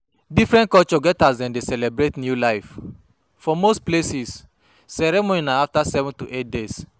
Different culture get how dem dey celebrate new life, for most places, ceremony na after 7 to 8 days